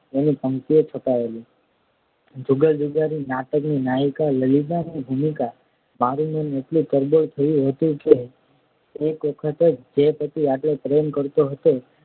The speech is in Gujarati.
એની પંક્તિઓ ચતાવેલી જુદા જુદા નાટક ની નાયિકા લલિતાની ભૂમિકા થયું હતું કે કરો હતો